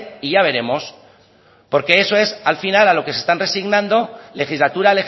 y ya veremos porque eso es al final a lo que se están resignando legislatura